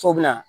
So bɛ na